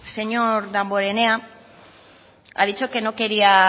señor damborenea ha dicho que no quería